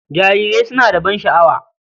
Jarirai suna da ban sha'awa.